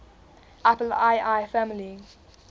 apple ii family